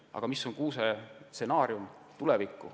Aga milline on kuuse tulevikustsenaarium?